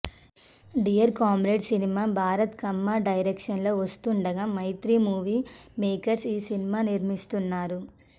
dear comrade సినిమా Bharat Kamma direction లో వస్తుండగా మైత్రి మూవీ మేకర్స్ ఈ సినిమా నిర్మిస్తున్నారు